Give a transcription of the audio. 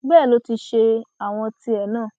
bẹẹ ló ti ṣe àwọn tìẹ náà